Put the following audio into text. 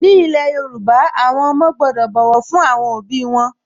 Ní ilẹ̀ Yorùbá, àwọn ọmọ gbọ́dọ̀ bọ̀wọ̀ fún àwọn òbí wọn